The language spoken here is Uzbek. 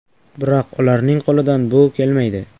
Biroq ularning qo‘lidan bu kelmaydi.